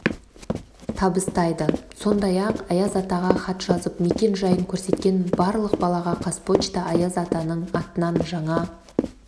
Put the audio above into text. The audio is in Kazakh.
табыстайды сондай-ақ аяз атаға хат жазып мекен-жайын көрсеткен барлық балаға қазпочта аяз атаның атынан жаңа